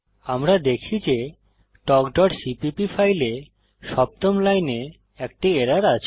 আমরা দেখি যে talkসিপিপি ফাইলে সপ্তম লাইনে একটি এরর আছে